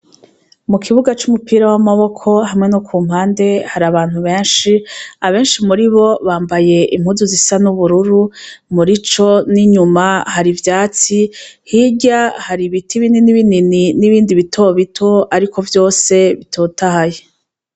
Mu kibuga c' umupira w' amaboko hamwe no ku mpande hari abantu benshi abenshi muri bo bambaye impuzu zisa n' ubururu muri co n' inyuma hari ivyatsi hirya hari ibiti binini n' ibindi bito bito ariko vyose bitotahaye.